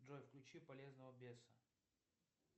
джой включи полезного беса